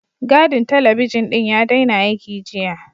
Gadin talabijin ɗin ya daina aiki, jiya.